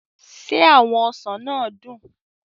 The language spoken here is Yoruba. Se awon osan naa dun?